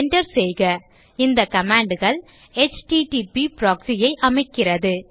Enter செய்க இந்த commandகள் எச்டிடிபி proxy ஐ அமைக்கிறது